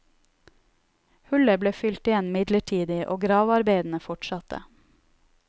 Hullet ble fylt igjen midlertidig, og gravearbeidene fortsatte.